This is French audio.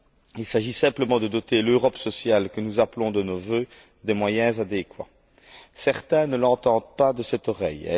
Il s'agit simplement de doter l'Europe sociale, que nous appelons de nos vœux, des moyens adéquats. Certains ne l'entendent pas de cette oreille.